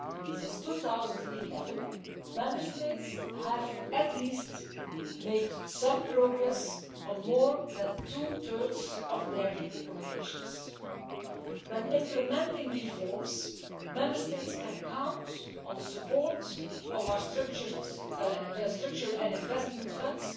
Since 2011, Member States have made at least some progress on more than two thirds of their recommendations. When implementing reforms, Member States can count on the support of our Structural and Investment Funds